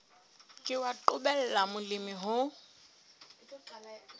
ke wa qobella molemi ho